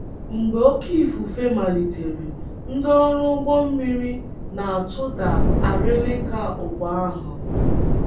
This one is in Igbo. Mgbe oké ifufe malitere, ndị ọrụ ụgbọ mmiri na - atụda arịlịka ụgbọ ahụ.